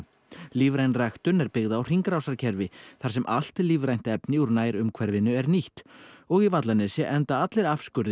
lífræn ræktun er byggð á hringrásarkerfi þar sem allt lífrænt efni úr nærumhverfinu er nýtt og í Vallanesi enda allir